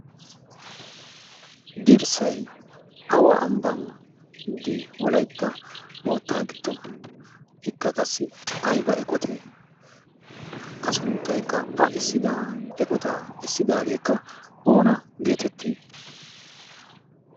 dirssai awa ambbandi wolaytta moottaa giddo ikka qassi ayba eqotee a sunttaykka assida eqotaa essidaageekka oona geetettii